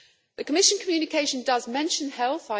The Commission communication does mention health.